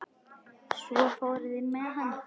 Svo fóru þeir með hann.